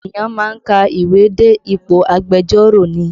Ènìyàn má ń ka ìwé dé ipò agbẹjọ́rò ni